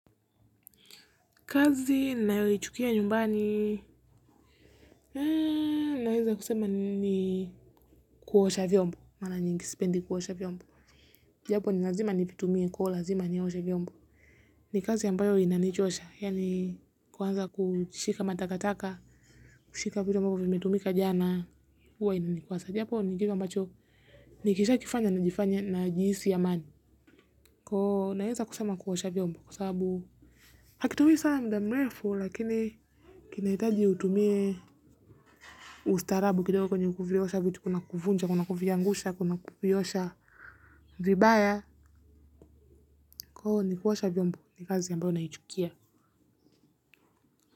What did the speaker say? Kazi nayoichukia nyumbani. Naweza kusema ni kuwosha vyombo. Mara nyingi sipendi kuosha vyombo. Japo ni lazima nivitumie kuwa lazima ni hoshe vyombo. Ni kazi ambayo inanichosha. Yani kuwanza kushika matakataka. Kushika vitu ambavyo vimetumika jana huwa inanikuwasa. Japo nikisha kifanya najifanya najihisi amani. Naweza kusema kuwosha vyombo kwa sababu hakitumie sana mdamrefu lakini kinaitaji utumie ustarabu kidogo kwenye kufiyosha vitu kuna kufunja, kuna kufiyangusha, kuna kufiyosha vibaya kwa hiyo ni kuosha vyombo, ni kazi ambayo naichukia.